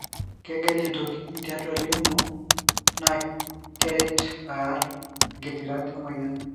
kegel intokiti tiatua lymoh na keret arr ingitirat omoyiariti.